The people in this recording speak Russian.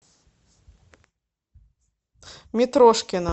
митрошкина